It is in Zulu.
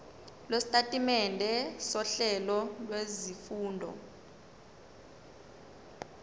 lwesitatimende sohlelo lwezifundo